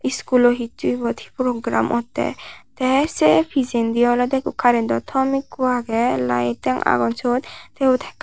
iskulot hissu ebot hi program ottey tey seibpijendi olodey ikko karento tom ekko agey liyeting agon syot te yot.